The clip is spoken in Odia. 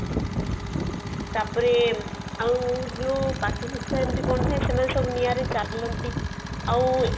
ତାପରେ ଆଉ ଯୋଉ ସେମାନ ସବୁ ନିଆଁରେ ଚାଳନ୍ତି